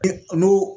De olu